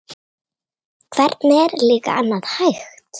Hvernig er líka annað hægt?